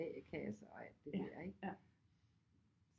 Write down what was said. A-kasse og alt det der ikke